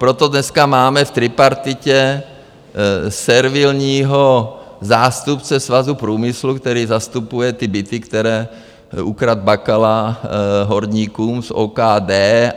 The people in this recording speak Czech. Proto dneska máme v tripartitě servilního zástupce Svazu průmyslu, který zastupuje ty byty, které ukradl Bakala horníkům z OKD.